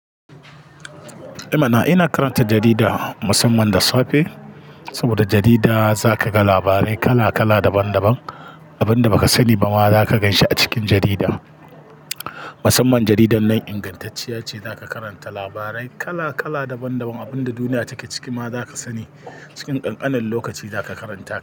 I mana! Ina karanta jarida musamman da safe saboda jarida za ka ga labarai kala kala daban daban. Abin da ba ka sani ba ma za ka ganshi a cikin jarida. Musamman jaridar nan ingantacce ce, za ka karanta labarai kala kala daban daban, abin da duniya take ciki ma za ka sani cikin ƙanƙanin lokaci zaka karanta ta.